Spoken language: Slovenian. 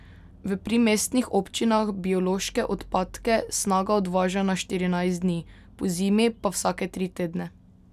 V primestnih občinah biološke odpadke Snaga odvaža na štirinajst dni, pozimi pa vsake tri tedne.